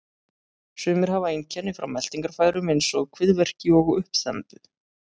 Sumir hafa einkenni frá meltingarfærum eins og kviðverki og uppþembu.